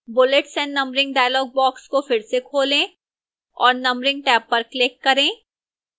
bullets and numbering dialog box को फिर से खोलें और numbering टैब पर click करें